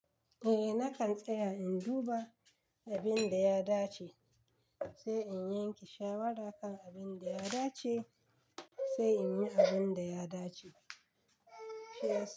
Eh, nakan tsaya in duba abin da ya dace, sai in yanke shawara kan abin da ya dace, sai in yi abin da ya dace.